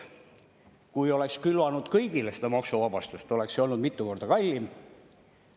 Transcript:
Kui oleks külvanud kõigile seda maksuvabastust, oleks olnud mitu korda kallim.